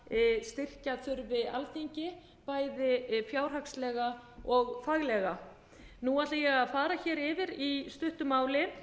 styrkja þurfi alþingi bæði fjárhagslega og faglega nú ætla ég að fara hér yfir í stuttu máli